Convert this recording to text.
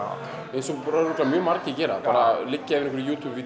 eins og áreiðanlega margir gera liggja yfir